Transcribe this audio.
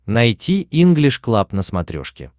найти инглиш клаб на смотрешке